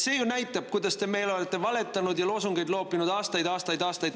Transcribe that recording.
See ju näitab, kuidas te olete meile valetanud ja loosungeid loopinud aastaid-aastaid-aastaid.